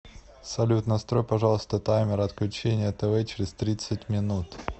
салют настрой пожалуйста таймер отключения тв через тридцать минут